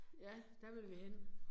Ja der vil vi hen